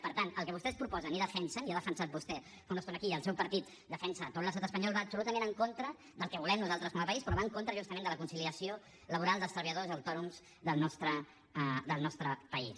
per tant el que vostès proposen i defensen i ho ha defensat vostè fa una estona aquí i el seu partit ho defensa a tot l’estat espanyol va absolutament en contra del que volem nosaltres com a país però va en contra justament de la conciliació laboral dels treballadors autònoms del nostre país